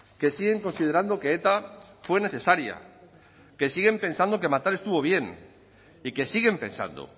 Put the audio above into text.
que siguen considerando que eta fue necesaria que siguen pensando que matar estuvo bien y que siguen pensando